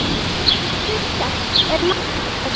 Bygging þess er langt komin.